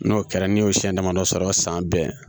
N'o kɛra n'i y'o siyɛn damadɔ sɔrɔ san bɛɛ